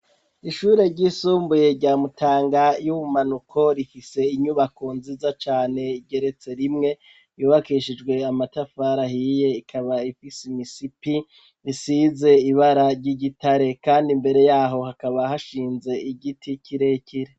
Ishure ryisumbuye rya mutanga yubumanuko rifise inyubako nziza cane igeretse rimwe yubakishijwe amatafari ahiye ikaba ifise imisipi isize ibara ry’igitare kandi imbere yaho hakaba hashinze igiti kirekire.